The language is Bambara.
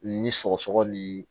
Ni sɔgɔsɔgɔ ni